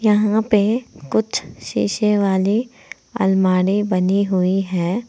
यहां पे कुछ शीशे वाली अलमारी बनी हुई है।